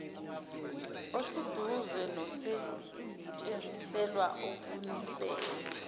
oseduze nosetshenziselwa ukunisela